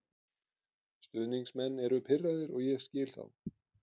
Stuðningsmenn eru pirraðir og ég skil þá.